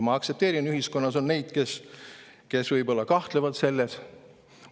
Ma aktsepteerin seda, et ühiskonnas on neid, kes võib-olla kahtlevad.